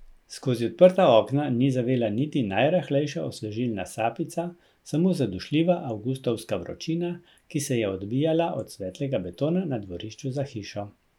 Skozi odprta okna ni zavela niti najrahlejša osvežilna sapica, samo zadušljiva avgustovska vročina, ki se je odbijala od svetlega betona na dvorišču za hišo.